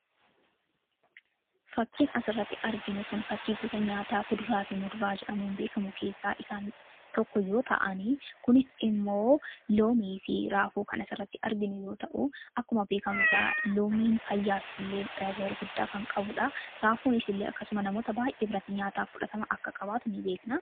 Fakiin as irratti arginu kun, fakii gosa nyaataa kuduraa fi muduraa jedhamuun beekamu keessaa isaan tokko yoo ta'anii, kunis immoo loomii fi raafuu kan as irratti arginu yoo ta'u, akkuma beekamu gaa loomiin fayyaa fi tajaajila gurguddaa kan qabuudha. Raafuunis illee akkasuma namoota baay'ee birratti nyaataa fudhatama akka qabaatu in beekna.